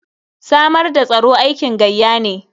Samar da tsaro aikin gayya ne.